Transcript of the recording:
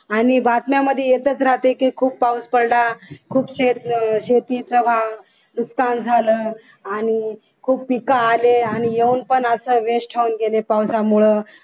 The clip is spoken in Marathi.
आणि बातम्यांमध्ये येतच राहते की खूप पाऊस पडला खूप शेतीचं नुकसान झालं आणि खूप पीक आले आणि येऊन पण असे west होऊन गेले पावसामुळे